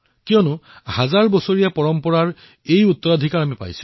কাৰণ সহস্ৰ বৰ্ষ পুৰণি সংস্কৃতিৰ ঐতিহ্য আমাৰ সৈতে আছে